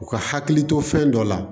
U ka hakili to fɛn dɔ la